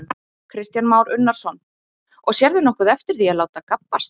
Kristján Már Unnarsson: Og sérðu nokkuð eftir því að láta gabbast?